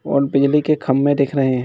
और बिजली के खंबे दिख रहे हैं।